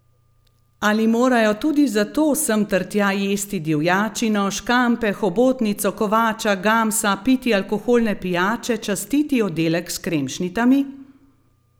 Ali morajo tudi zato sem ter tja jesti divjačino, škampe, hobotnico, kovača, gamsa, piti alkoholne pijače, častiti oddelek s kremšnitami?